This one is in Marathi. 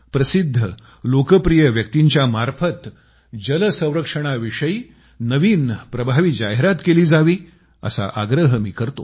प्रसिद्ध लोकप्रिय व्यक्तींच्या मार्फत जल संरक्षणाविषयी नवीन प्रभावी जाहिरात केली जावी असा आग्रह मी करतो